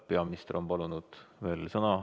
Peaminister on palunud veel sõna.